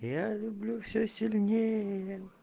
я люблю всё сильнее